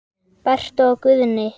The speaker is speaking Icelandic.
Berta og Guðni.